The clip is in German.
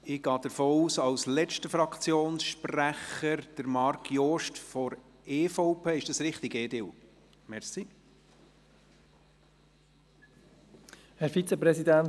Ich gehe davon aus, dass Marc Jost von der EVP als letzter Fraktionssprecher spricht.